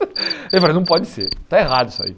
Ele falou, não pode ser, está errado isso aí.